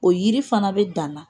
O yiri fana bɛ dan na